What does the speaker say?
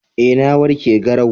Eh na warke garau